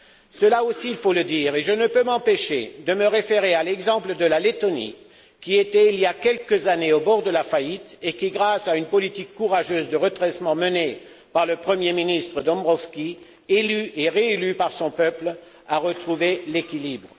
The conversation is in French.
Cela aussi, il faut le dire, et je ne peux m'empêcher de me référer à l'exemple de la Lettonie, qui était il y a quelques années au bord de la faillite et qui, grâce à une politique courageuse de redressement menée par le Premier ministre Dombrovskis, élu et réélu par son peuple, a retrouvé l'équilibre.